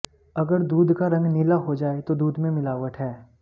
अगर दूध का रंग नीला हो जाए तो दूध में मिलावट है